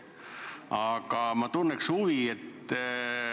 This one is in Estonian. Aga ma tunnen huvi.